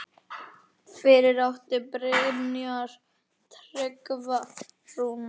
Fyrir átti Brynjar Tryggva Rúnar.